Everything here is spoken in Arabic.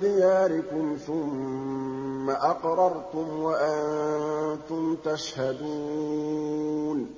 دِيَارِكُمْ ثُمَّ أَقْرَرْتُمْ وَأَنتُمْ تَشْهَدُونَ